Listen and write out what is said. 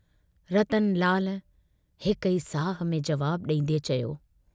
रतनलाल हिक ई साह में जवाबु डींदे चयो।